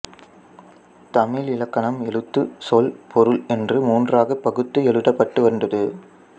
தமிழ் இலக்கணம் எழுத்து சொல் பொருள் என்று மூன்றாகப் பகுத்து எழுதப்பட்டு வந்தது